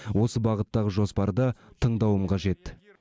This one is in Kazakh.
осы бағыттағы жоспарды тыңдауым қажет